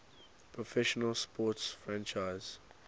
professional sports franchise